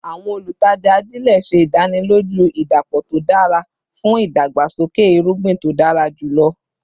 Awọn olutaja ajile ṣe idaniloju idapọ to dara fun idagbasoke irugbin to dara julọ